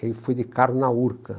Eu fui de carro na Urca.